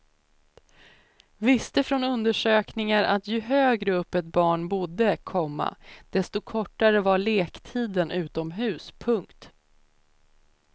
Visste från undersökningar att ju högre upp ett barn bodde, komma desto kortare var lektiden utomhus. punkt